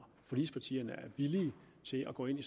forligspartierne villige til at gå ind i